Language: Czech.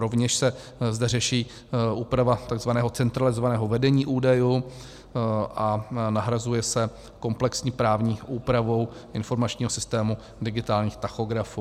Rovněž se zde řeší úprava tzv. centralizovaného vedení údajů a nahrazuje se komplexní právní úpravou informačního systému digitálních tachografů.